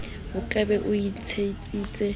o ka be o ntsebisitse